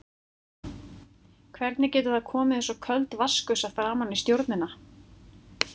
Hvernig getur það komið eins og köld vatnsgusa framan í stjórnina?